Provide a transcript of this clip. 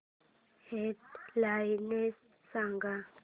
head lines सांग